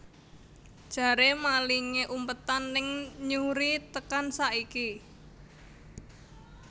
Jare malinge umpetan ning Newry tekan saiki